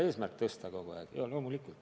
Eesmärk võiks olla kogu aeg seda näitajat parandada.